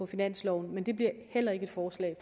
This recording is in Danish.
finansloven men det bliver heller ikke et forslag